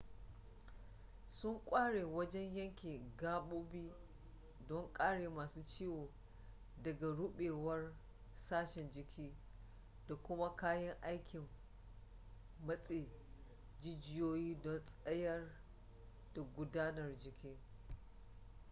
sun ƙware wajen yanke gaɓoɓi don kare masu ciwo daga ruɓewar sashen jiki da kuma kayan aikin matse jijiyoyi don tsayar da gudanar jini